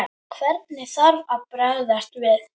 Hvernig þarf að bregðast við?